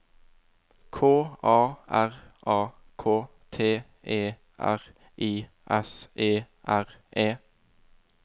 K A R A K T E R I S E R E